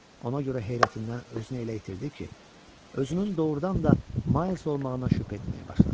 Ona görə heyrətindən özünü elə itirdi ki, özünün doğurdan da Ma olmağına şübhə etməyə başladı.